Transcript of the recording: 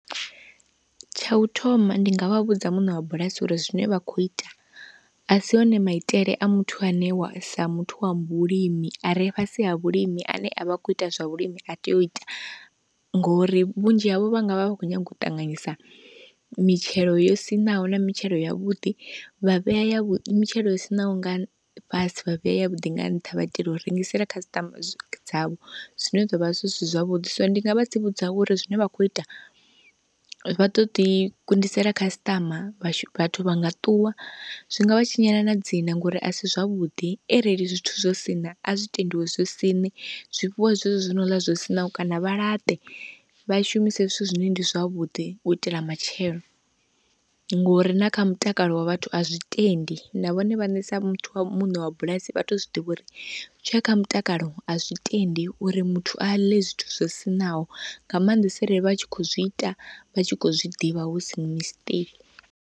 Tsha u thoma ndi nga vha vhudza muṋe wa bulasi uri zwine vha khou ita a si one maitele a muthu ane wa sa muthu wa vhulimi a re fhasi ha vhulimi ane a vha khou ita zwa vhulimi a tea u ita ngori, vhunzhi havho vha nga vha vha khou nyaga u ṱanganyisa mitshelo yo siṋaho na mitshelo ya vhuḓi, vha vhea ya vhu mitshelo yo siṋaho nga fhasi vha vhea ya vhuḓi nga nṱha vha itela u rengisela customer dzavho zwine zwa vha zwi si zwavhuḓi. So ndi nga vha tsivhudza uri zwine vha khou ita vha ḓo ḓi kundisela customer, vhashu, vhathu vha nga ṱuwa, zwi nga vha tshinyela na dzina ngori a si zwavhuḓi, arali zwithu zwo siṋa a zwi tendiwe zwi siṋe, zwifhiwe zwezwi zwi no ḽa zwo siṋaho kana vha laṱe, vha shumise zwithu zwine ndi zwavhuḓi u itela matshelo, ngori na kha mutakalo wa vhathu a zwi tendi, na vhone vhaṋe sa muthu muṋe wa bulasi vha tou zwiḓivha uri zwi tshi ya kha mutakalo a zwi tendi uri muthu a ḽe zwithu zwo siṋaho, nga maanḓesa arali vha tshi khou zwi ita vha tshi khou zwi ḓivha husi mistake.